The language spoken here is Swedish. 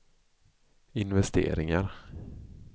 investeringar